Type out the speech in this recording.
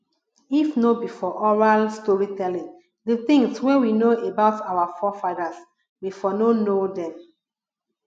if no be for oral story telling di things wey we know about our forefathers we for no know dem